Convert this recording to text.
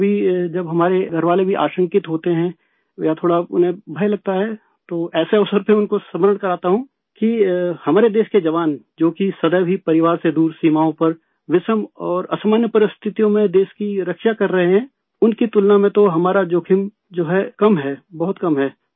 کبھی جب ہمارے گھر والے بھی خوفزدہ ہوتے ہے یا تھوڑا انہیں ڈر لگتا ہے تو ایسے موقعوں پر ان کو یاد دلاتا ہوں، کہ ہمارے ملک کے جوان جو کہ ہمیشہ ہی اپنے کنبے سے دور سرحدوں پر سخت اور غیر معمولی صورتحال میں ملک کی حفاظت کر رہے ہیں، ان کے مقابلے میں تو ہمارا خطرہ جو ہے کم ہے، بہت کم ہے